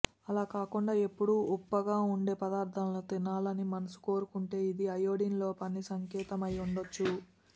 అలాకాకుండా ఎప్పుడూ ఉప్పగా ఉండే పదార్థాలు తినాలని మనసు కోరుకుంటే ఇది అయోడిన్ లోపానికి సంకేతం అయ్యుండొచ్చు